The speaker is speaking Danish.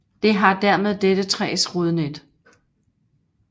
Det har dermed dette træs rodnet